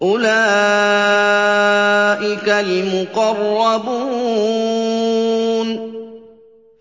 أُولَٰئِكَ الْمُقَرَّبُونَ